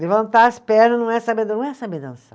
Levantar as pernas não é saber dan, não é saber dançar.